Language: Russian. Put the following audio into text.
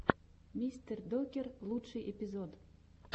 мистердокер лучший эпизод